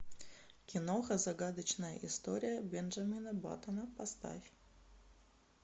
киноха загадочная история бенджамина баттона поставь